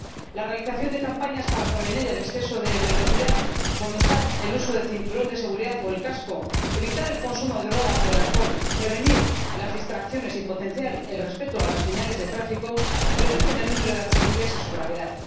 La realización de campañas para prevenir el exceso de velocidad, fomentar el uso del cinturón de seguridad o del casco, evitar el consumo de drogas o alcohol, prevenir las distracciones y potenciar el respeto a las señales de tráfico reducen el número de accidentes y su gravedad.